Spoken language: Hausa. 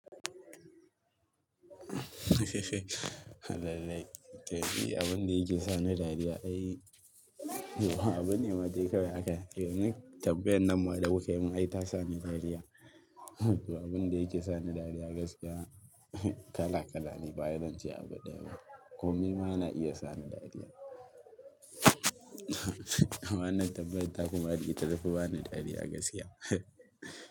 Abin da yake sani dariya ai, abin ne ma dai kawai haka yanzu tambayar nan ma da kuka yi mun ai ta sa ni dariya. Abin da yake sani dariya gaskiya kala kala ne ba zan ce abu ɗaya ba. Komai ma na iya sa ni dariya. Wannan tabbayar ta ku ma duk ita tafi bani dariya gaskiya.